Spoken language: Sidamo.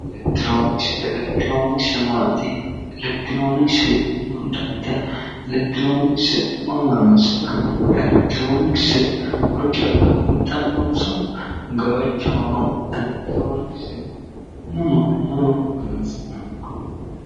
Elekitironikise elekitironikise maati lowontanni mama horoonsi'nanni elekitironikise horo calla uuyitannonso gawajjono abbitanno? Elekitironikise mama mama horoonsi'nanni